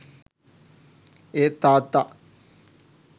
ඒත් තාත්තා